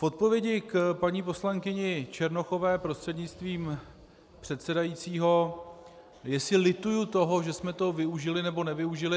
V odpovědi k paní poslankyni Černochové prostřednictvím předsedajícího, jestli lituji toho, že jsme toho využili, nebo nevyužili.